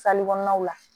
kɔnɔnaw la